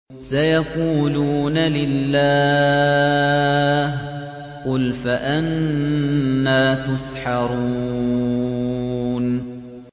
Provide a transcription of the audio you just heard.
سَيَقُولُونَ لِلَّهِ ۚ قُلْ فَأَنَّىٰ تُسْحَرُونَ